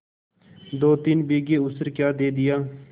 दोतीन बीघे ऊसर क्या दे दिया